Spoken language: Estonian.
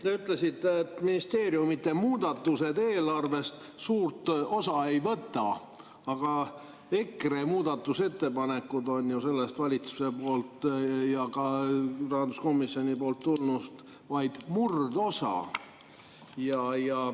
Te ütlesite, et ministeeriumide muudatused eelarvest suurt osa ei võta, aga EKRE muudatusettepanekud on ju valitsusest ja ka rahanduskomisjonist tulnust vaid murdosa.